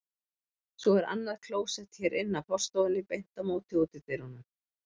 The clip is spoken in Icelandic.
Svo er annað klósett hér inn af forstofunni, beint á móti útidyrunum.